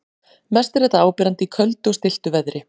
Mest er þetta áberandi í köldu og stilltu veðri.